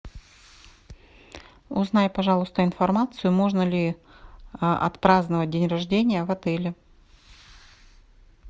узнай пожалуйста информацию можно ли отпраздновать день рождения в отеле